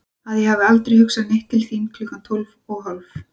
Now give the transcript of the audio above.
Að ég hafi aldrei hugsað neitt til þín klukkan tólf og hálf?